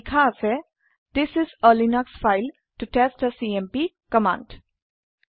ইয়াত লেখা আছে this is a Linux file ত টেষ্ট থে চিএমপি কামাণ্ড